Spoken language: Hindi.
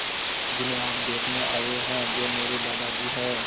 जिन्हें आप देखने आए हैं वे मेरे दादाजी हैं